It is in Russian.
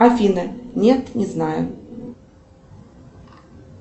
афина нет не знаю